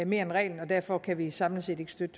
mere end reglen og derfor kan vi samlet set ikke støtte